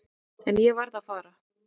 En ég varð að fara.